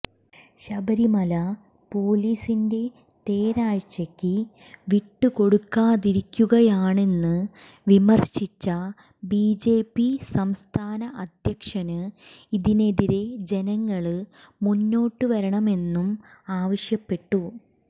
ശബരിമല പോലീസിന്റെ തേര്വാഴ്ചക്ക് വിട്ടുകൊടുത്തിരിക്കുകയാണെന്ന് വിമര്ശിച്ച ബിജെപി സംസ്ഥാന അധ്യക്ഷന് ഇതിനെതിരെ ജനങ്ങള് മുന്നോട്ടു വരണമെന്നും ആവശ്യപ്പെട്ടു